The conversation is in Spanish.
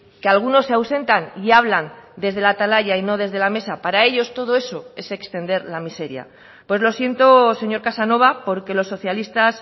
que algunos se ausentan y hablan desde la atalaya y no desde la mesa para ellos todo eso es extender la miseria pues lo siento señor casanova porque los socialistas